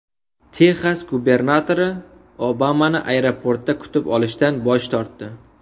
Texas gubernatori Obamani aeroportda kutib olishdan bosh tortdi.